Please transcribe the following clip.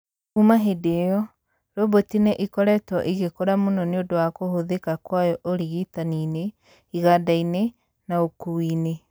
Kuuma hĩndĩ ĩyo, roboti nĩ ĩkoretwo ĩgĩkũra mũno nĩ ũndũ wa kũhũthĩka kwayo ũrigitani-inĩ, iganda-inĩ, na ũkuui-inĩ